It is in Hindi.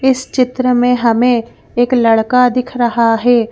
इस चित्र में हमें एक लड़का दिख रहा है।